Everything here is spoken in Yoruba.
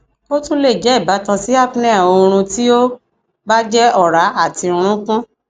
o tun le jẹ ibatan si apnea oorun ti o ba jẹ ọra ati nrunkun